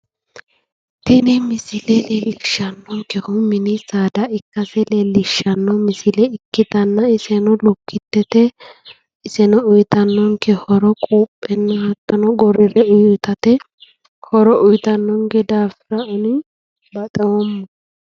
Tini misile leellishannonkehu mini saada ikkase leellishsanno misile ikkitanna iseno lukkitete uuyitannonke horo quuphena hattono gorrire itate horo uuyitannonke daafira ani baxoomma.